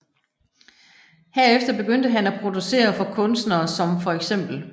Herefter begyndte han at producere for kunstnere som feks